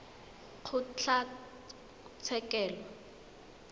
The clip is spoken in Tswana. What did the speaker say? kgotlatshekelo